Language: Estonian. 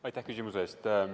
Aitäh küsimuse eest!